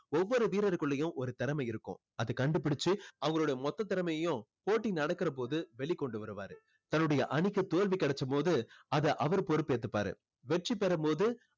ஒவ்வொரு வீரருக்குள்ளேயும் ஒரு திறமை இருக்கும். அதை கண்டுபிடிச்சு அவங்களோட மொத்த திறமையும் போட்டி நடக்கிறபோது வெளிக்கொண்டு வருவாரு. தன்னுடைய அணிக்கு தோல்வி கிடைச்சபோது அதை அவர் பொறுப்பேத்துப்பாரு. வெற்றி பெறும் போது